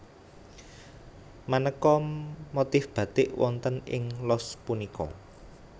Manéka motif batik wonten ing los punika